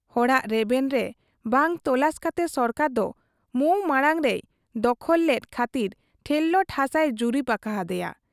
ᱦᱚᱲᱟᱜ ᱨᱮᱵᱮᱱ ᱵᱟᱝ ᱛᱚᱞᱟᱥ ᱠᱟᱛᱮ ᱥᱚᱨᱠᱟᱨ ᱫᱚ MOU ᱢᱟᱬᱟᱝ ᱨᱮᱭ ᱫᱚᱥᱠᱚᱛ ᱞᱮᱫ ᱠᱷᱟᱹᱛᱤᱨ ᱴᱷᱮᱨᱞᱟᱴ ᱦᱟᱥᱟᱭ ᱡᱩᱨᱤᱵᱽ ᱟᱠᱟ ᱦᱟᱫᱮᱭᱟ ᱾